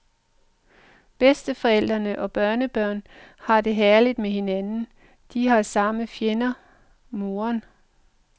Bedsteforældre og børnebørn har det herligt med hinanden, de har samme fjende, moderen.